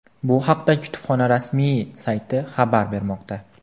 Bu haqda kutubxona rasmiy sayti xabar bermoqda .